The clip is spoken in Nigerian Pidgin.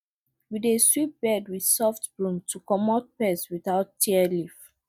we dey sweep bed with soft broom to comot pest without tear leaf